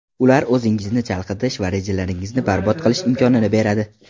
Ular o‘zingizni chalg‘itish va rejalaringizni barbod qilish imkonini beradi.